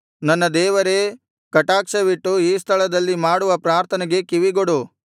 ನನ್ನ ದೇವರೇ ಕಟಾಕ್ಷವಿಟ್ಟು ಈ ಸ್ಥಳದಲ್ಲಿ ಮಾಡುವ ಪ್ರಾರ್ಥನೆಗೆ ಕಿವಿಗೊಡು